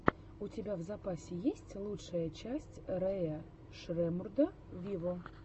у тебя в запасе есть лучшая часть рэя шреммурда виво